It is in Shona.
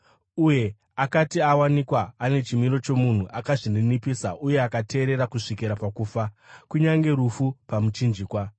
Uye akati awanikwa ane chimiro chomunhu, akazvininipisa uye akateerera kusvikira pakufa, kunyange rufu pamuchinjikwa.